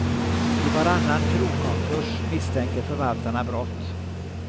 I varannan krogkonkurs misstänker förvaltarna brott.